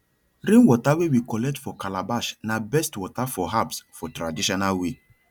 rainwater wey we collect for calabash na best water for herbs for traditional way